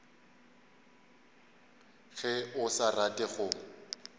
ge o sa rate go